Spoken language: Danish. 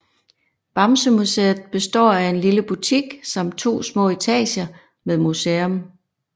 Bamsemuseet består af en lille butik samt to små etager med museum